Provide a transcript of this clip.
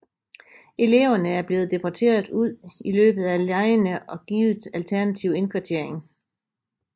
Eleverne er blevet deporteret ud i løbet af legene og givet alternativ indkvartering